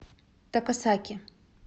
такасаки